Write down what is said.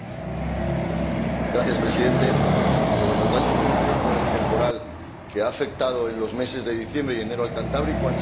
Señor Presidente, los daños producidos por el temporal que ha afectado en los meses de diciembre y enero a la cornisa cantábrica han sido cuantiosos.